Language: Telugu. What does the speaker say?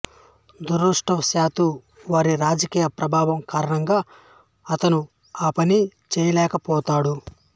దురదృష్టవశాత్తు వారి రాజకీయ ప్రభావం కారణంగా అతను ఆ పని చెయ్యలేకపోతాడు